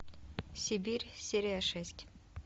сибирь серия шесть